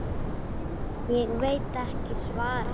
Ég veit ekki svarið.